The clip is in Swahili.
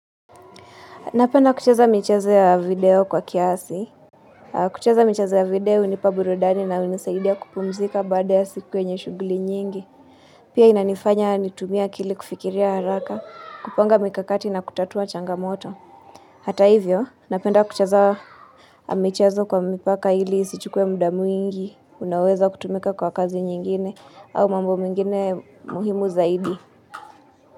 Napenda kucheza michezo ya video kwa kiasi. Kucheza michezo ya video hunipa burudani na hunisaidia kupumzika baada ya siku yenye shughuli nyingi. Pia inanifanya nitumie akili kufikiria haraka, kupanga mikakati na kutatua changamoto. Hata hivyo, napenda kucheza michezo kwa mipaka ili isichukuwe muda mwingi. Naweza kutumika kwa kazi nyingine au mambo mengine muhimu zaidi.